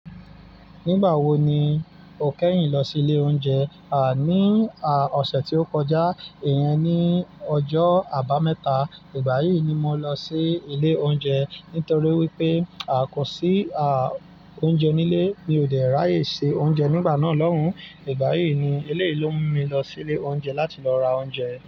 Nígbà wo ni o kẹ́yìn lọ sí ilé oúnjẹ? À, ní, à, ọ̀sẹ̀ tí ó kọjá. Ìyẹn ni ọjọ́ Àbámẹ́ta. Ìgbà yí ni mo lọ sí ilé oúnjẹ nítorí wípé, à, kò sí, à, oúnjẹ nílé. Mi ò dẹ ra ye se oúnjẹ nígbà náà lọ́un. Ìgbà yí ni, eleyi lo mú mi lọ ilé oúnjẹ láti lọ ra oúnjẹ.